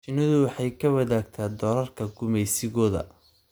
Shinnidu waxay la wadaagtaa doorarka gumaysigooda.